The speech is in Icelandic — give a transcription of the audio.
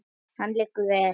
Hann liggur vel.